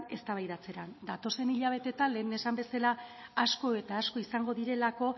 eztabaidatzera datozen hilabetetan lehen esan bezala asko eta asko izango direlako